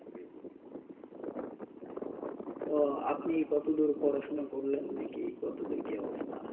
তো আপনি কতদুর পড়াশোনা করলেন নাকি কতদুর কি অবস্থা